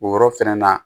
O yɔrɔ fɛnɛ na